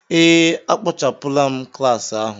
Ee, a kpochapụla m klas ahụ.